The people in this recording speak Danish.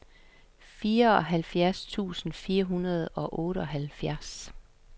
fireoghalvfjerds tusind fire hundrede og otteoghalvfjerds